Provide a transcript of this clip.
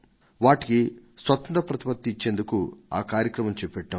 వాటికి స్వతంత్ర ప్రతిపత్తిని ఇచ్చేందుకు ఆ కార్యక్రమాన్ని తీసుకొన్నాం